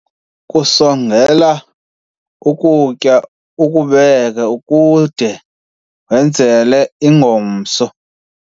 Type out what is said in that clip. kusongela ukutya ukubeke kude wenzele ingomso